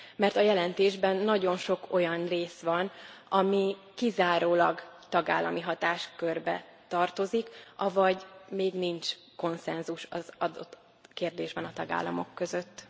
Mert a jelentésben nagyon sok olyan rész van, ami kizárólag tagállami hatáskörbe tartozik, avagy még nincs konszenzus az adott kérdésben a tagállamok között.